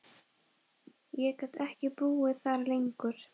Ég gat ekki búið þar lengur.